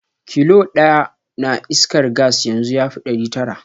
Kilo ɗaya na iskar gas yanzu yafi ɗari tara.